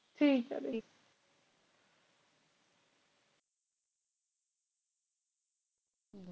ਠੀਕ ਆ ਗੀ